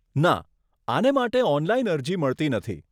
ના, આને માટે ઓનલાઈન અરજી મળતી નથી.